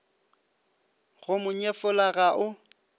go mo nyefola ga o